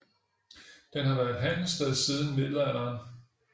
Den har været et handelssted siden Middelalderen